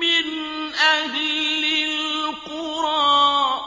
مِّنْ أَهْلِ الْقُرَىٰ ۗ